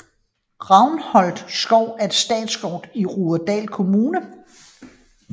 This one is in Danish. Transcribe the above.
Ravnholm Skov er en statsskov i Rudersdal Kommune